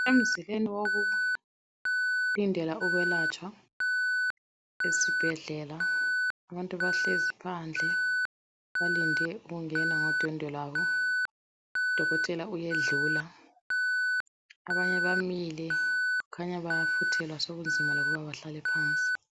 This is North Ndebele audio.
Emzileni wokulindela ukwelatshwa esibhedlela, abantu bahlezi phandle balinde ukungena ngodwendwe lwabo. Udokotela uyadlula, abanye bamile kukhanya bayafuthelwa sokunzima lokuba bahlale phansi.